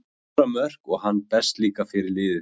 Hann skorar mörk og hann berst líka fyrir liðið.